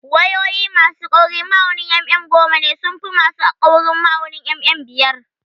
Wayoyi ma su kaurin ma'aunin mm goma sun fi ma su kaurin ma'aunin mm biyar